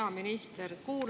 Hea minister!